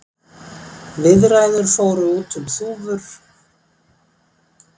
Viðræður fóru út um þúfur